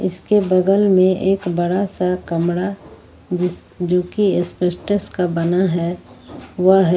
इसके बगल में एक बड़ा सा कमरा जो की स्पेशटस का बना है वह है--